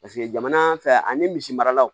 Paseke jamana fɛ ani misi maralaw